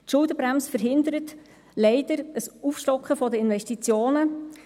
Die Schuldenbremse verhindert leider ein Aufstocken der Investitionen.